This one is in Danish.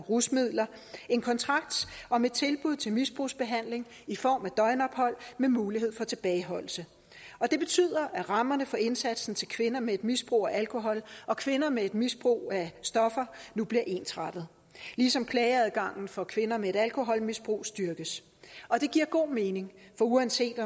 rusmidler en kontrakt om et tilbud til misbrugsbehandling i form af døgnophold med mulighed for tilbageholdelse det betyder at rammerne for indsatsen til kvinder med et misbrug af alkohol og kvinder med et misbrug af stoffer nu bliver ensrettet ligesom klageadgangen for kvinder med et alkoholmisbrug styrkes det giver god mening for uanset